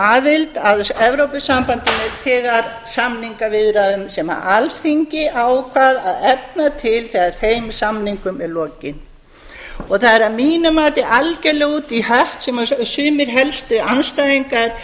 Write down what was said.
aðild að evrópusambandinu þegar samningaviðræðum sem alþingi ákvað að efna til þegar þeim samningum er lokið það er að mínu mati algjörlega út í hött sem sumir helstu andstæðingar